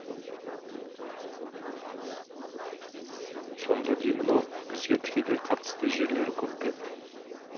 сонда деймін ау бізге тікелей қатысты жерлері көп пе